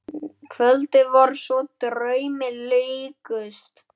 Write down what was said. Kvöldin voru svo draumi líkust.